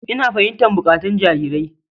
Ina fahimtar buƙatun jarirai.